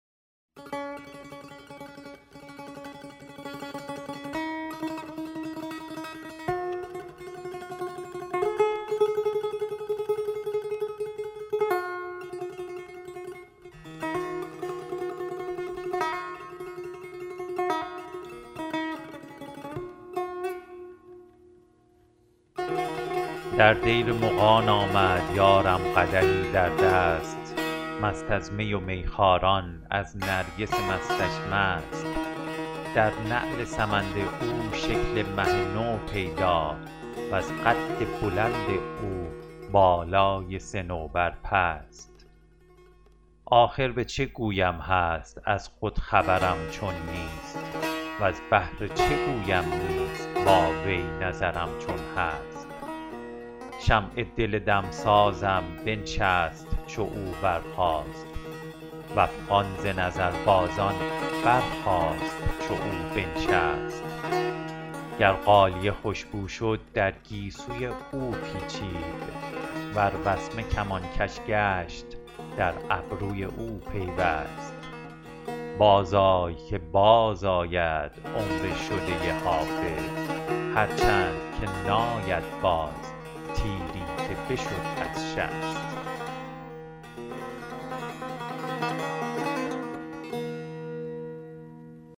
در دیر مغان آمد یارم قدحی در دست مست از می و میخواران از نرگس مستش مست در نعل سمند او شکل مه نو پیدا وز قد بلند او بالای صنوبر پست آخر به چه گویم هست از خود خبرم چون نیست وز بهر چه گویم نیست با وی نظرم چون هست شمع دل دمسازم بنشست چو او برخاست و افغان ز نظربازان برخاست چو او بنشست گر غالیه خوش بو شد در گیسوی او پیچید ور وسمه کمانکش گشت در ابروی او پیوست بازآی که بازآید عمر شده حافظ هرچند که ناید باز تیری که بشد از شست